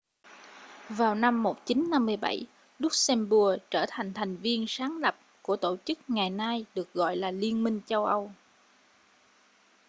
vào năm 1957 luxembourg trở thành thành viên sáng lập của tổ chức ngày nay được gọi là liên minh châu âu